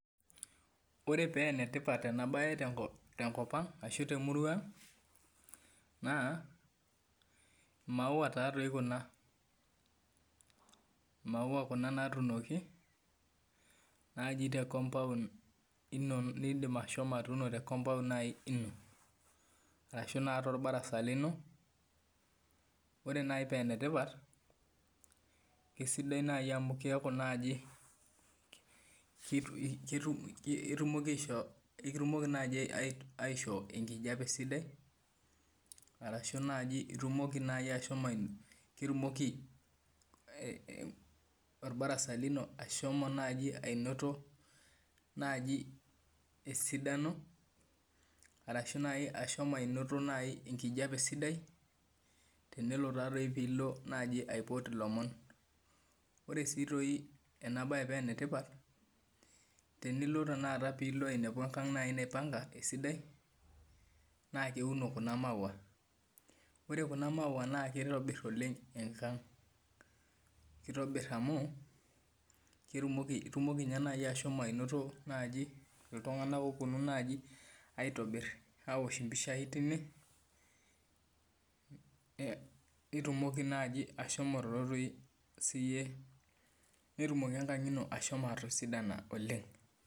Ore pee enetipat ena mbae tenkop ashu temurua ang naa maua taadoi Kuna maua Kuna natunoki naaji tee compound eno edim ashomo atuno tee compound ashu torbarasa lino ore naaji paa enetipat kisidai amu ekitumoki aishoo enkijiape sidai ashu ketumoki orbarasa lino ashomo naaji anoto naaji esidano ashu ashomo anoto enkijiape sidai tenelo pee elo aipoto elomon ore sii doi ena mbae paa enetipat tenilo pee elo ainepu enkang naipanga esidai naa keuno Kuna maua ore Kuna maua naa kitobir enkang kitobir amu etumoki anoto iltung'ana opuonu aitobir awosho mpishai tine nitumoki naaji ashomo siiyie netumoki enkajit eno ashomo atisidana oleng